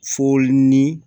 Foli ni